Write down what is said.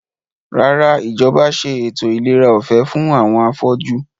Rárá, Ìjọba ṣe ètò ìlera ọ̀fẹ́ fún àwọn afọ́jú